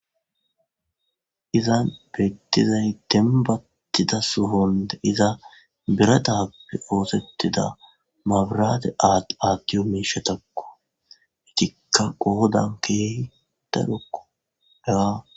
Izan beettizay dembattida suhonde iza bera daappe oosettida mabrade aaattiyo miishatakko itikka qoodan keeh dagokko daa.